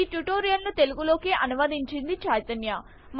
ఈ ట్యూటోరియల్ ను తెలుగు లోకి అనువదించింది చైతన్య